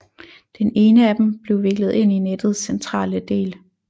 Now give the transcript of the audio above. Den ene af dem blev viklet ind i nettets centrale del